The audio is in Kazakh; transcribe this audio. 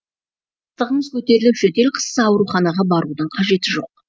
ыстығыңыз көтеріліп жөтел қысса ауруханаға барудың қажет жоқ